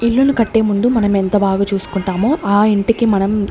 ఇల్లులు కట్టే ముందు మనమెంత బాగా చూసుకుంటామో ఆ ఇంటికి మనం.